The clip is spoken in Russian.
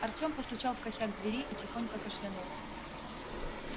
артем постучал в косяк двери и тихонько кашлянул